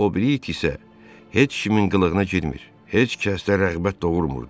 O biri it isə heç kimin qılığına girmir, heç kəsdə rəğbət doğurmurdu.